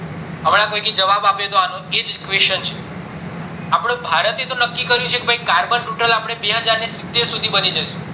હમણાં કોયે જવાબ આપ્યો હતો એજ question છે આપડો ભારત એ તો નક્કી કર્યું છે કે carbon neutral અપડે બેહજાર સિત્તેર સુધી બની જસુ